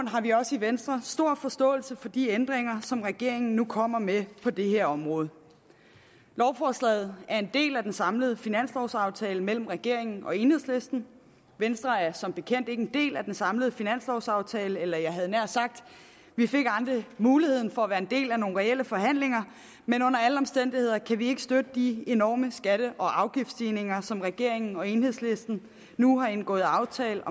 har vi også i venstre stor forståelse for de ændringer som regeringen nu kommer med på det her område lovforslaget er en del af den samlede finanslovaftale mellem regeringen og enhedslisten venstre er som bekendt ikke en del af den samlede finanslovaftale eller jeg nær sagt muligheden for at være en del af nogen reelle forhandlinger men under alle omstændigheder kan vi ikke støtte de enorme skatte og afgiftsstigninger som regeringen og enhedslisten nu har indgået aftale